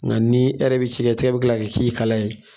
Nka ni e yɛrɛ bɛ sɛgɛsɛgɛ e bi tila kalaya ye